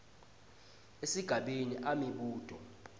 esigabeni a imibuto